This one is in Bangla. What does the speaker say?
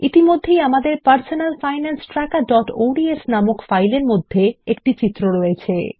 ইতিমধ্যেই আমাদের personal finance trackerঅডস নামক ফাইলের মধ্যে একটি চিত্র রয়েছে